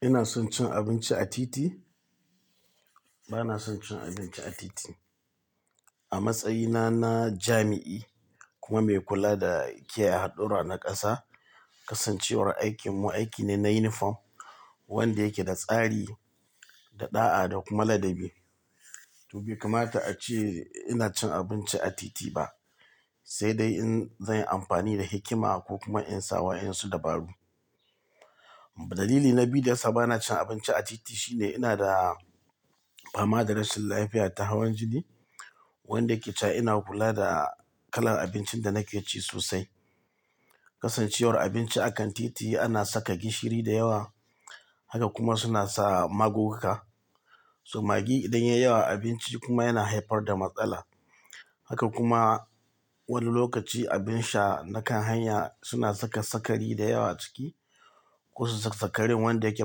Ina son cin abinci a titi? Bana son cin abinci a titi. A matsayina na jami'i kuma mai kula da kiyaye hadurra na ƙasa, kasancewar aikinmu aiki ne na yunifom wanda yake da tsari da ɗa'a da kuma ladabi. To, bai kamata a ce ina cin abinci a titi ba, sai dai in zai yi amfani da hikima ko kuma in sa wa insu dabaru. Dalili na biyu da ya sa bana cin abinci a titi shine ina da fama da rashin lafiya ta hawan jini wanda yake sa ina kula da kalar abincin da nake ci sosai. Kasancewar abinci akan titi ana saka gishiri da yawa, haka kuma suna sa magunguka. To, maggi idan ya yi yawa a abinci kuma yana haifar da matsala. Haka kuma wani lokaci abin sha na kan hanya suna saka sukari da yawa a ciki. Kusa saka sikarin wanda yake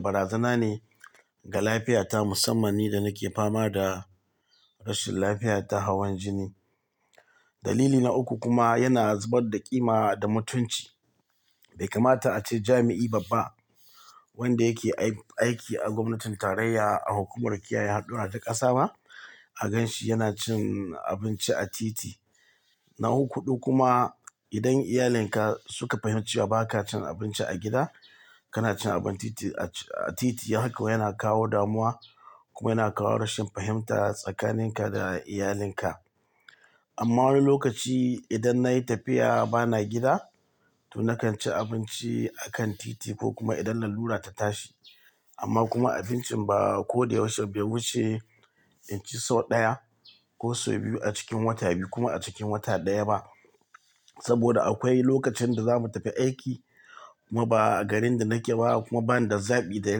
barazana ne ga lafiyata musamman ni da nake fama da rashin lafiya ta hawan jini. Dalili na uku kuma yana zubar da ƙima da mutunci. Bai kamata a ce jami'i babba wanda yake aiki a gwamnatin tarayya a hukumar kiyaye hadurra ta ƙasa ba a gan shi yana cin abinci a titi. Na hudu kuma idan iyalinka suka fahimci ba ka cin abinci a gida, kana cin abinci a titi, haka yana kawo damuwa kuma yana kawo rashin fahimta tsakanin ka da iyalinka. Amma wani lokaci idan nayi tafiya bana gida to nakan ci abinci a kan titi ko kuma idan lallura ta tashi. Amma kuma abincin ba ko da yaushe bai wuce inci sau ɗaya ko sau biyu a cikin wata biyu kuma cikin wata ɗaya ba. Saboda akwai lokacin da zamu tafi aiki kuma ba a garin da nake ba kuma bani da zaɓi da ya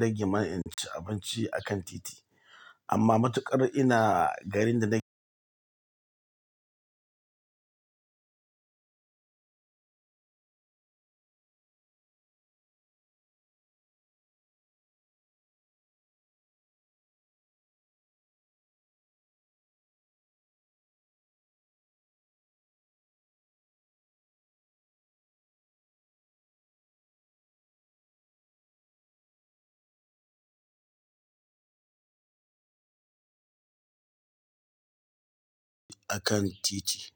rage min in ci abinci a kan titi. Amma matuƙar ina garin da nake akan titi.